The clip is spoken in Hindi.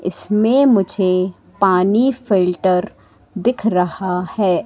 इसमें मुझे पानी फिल्टर दिख रहा है।